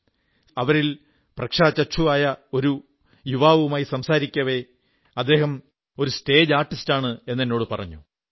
സംസാരത്തിനിടയിൽ അവരിൽ പ്രജ്ഞാചക്ഷുവായ ഒരു യുവാവുമായി സംസാരിക്കവെ അദ്ദേഹം ഒരു സ്റ്റേജ് ആർട്ടിസ്റ്റാണെന്നു പറഞ്ഞു